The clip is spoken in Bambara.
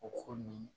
O ko nin